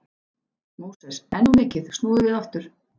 Móses, enn of mikið, snúðu við aftur.